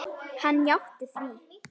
Hann játti því.